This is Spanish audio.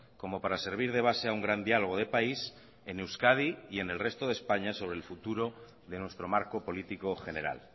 como para servir de base a un gran diálogo de país en euskadi y en el resto de españa sobre el futuro de nuestro marco político general